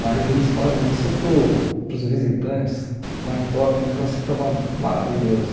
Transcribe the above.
Mas eles fazem isso para o para os visitantes lá em Tóquio, o negócio estava maravilhoso.